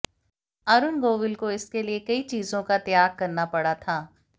अरुण गोविल को इसके लिए कई चीजों का त्याग करना पड़ा था